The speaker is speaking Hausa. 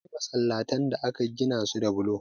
Akwai masallatan da aka gina su da bulo.